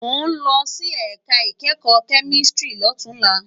Mó n lòsí èká ikèékò kèmísìtírì lótúnlá